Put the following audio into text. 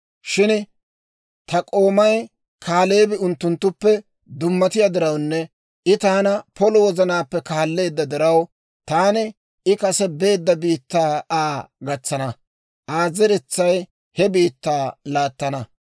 Shin ta k'oomay Kaaleebi unttunttuppe dummatiyaa dirawunne I taana polo wozanaappe kaalleedda diraw, taani I kase beedda biittaa Aa gatsana; Aa zeretsay he biittaa laattana.